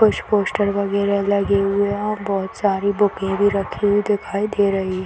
कुछ पोस्टर वगेरा लगे हुए है और बहुत सारी बूके भी रखी हुई दिखाई दे रही है ।